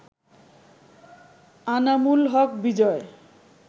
Anamul Haque Bijoy